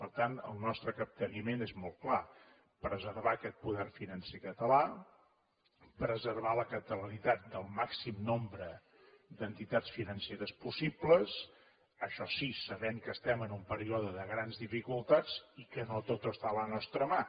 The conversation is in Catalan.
per tant el nostre capteniment és molt clar preservar aquest poder financer català preservar la catalanitat del màxim nombre d’entitats financeres possibles això sí sabent que estem en un període de grans dificultats i que no tot està a la nostra mà